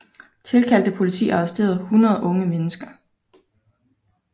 Tilkaldt politi arresterede 100 unge mennesker